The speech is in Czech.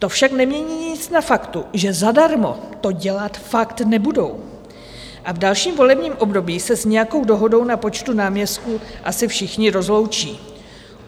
To však nemění nic na faktu, že zadarmo to dělat fakt nebudou, a v dalším volebním období se s nějakou dohodou na počtu náměstků asi všichni rozloučí.